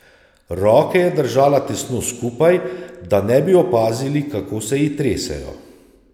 Roke je držala tesno skupaj, da ne bi opazili, kako se ji tresejo.